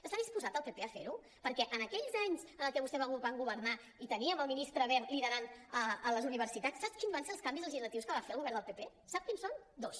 està disposat el pp a fer·ho perquè en aquells anys en els quals vostès van governar i teníem el ministre wert liderant les universitats sap quins van ser els canvis legislatius que va fer el govern del pp sap quins són dos